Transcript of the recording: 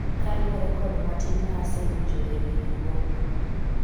kaluwore kod matin ma asewinjo ewi riwruogno